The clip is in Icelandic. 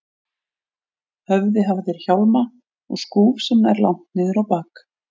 höfði hafa þeir hjálma og skúf sem nær langt niður á bak.